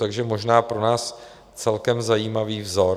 Takže možná pro nás celkem zajímavý vzor.